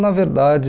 Na verdade...